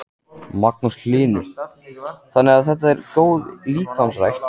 Magnús Hlynur: Þannig þetta er góð líkamsrækt?